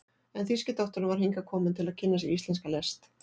en þýski doktorinn var hingað kominn til að kynna sér íslenska list.